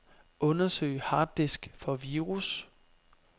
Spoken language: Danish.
Undersøg harddisk for virus.